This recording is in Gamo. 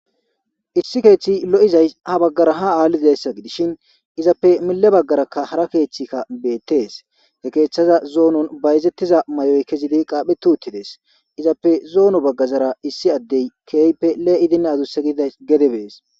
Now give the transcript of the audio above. Issi keeththi lo'izay ha baggara ha aalliayssa gidishin izappe mille baggaraka hara keeththikka beettees he keeththaza zoonon bayzettiza may'oy kezidi qaaphe tuuttides izappe zoono baggazara issi addey keype lee'idin adu segida gede bees.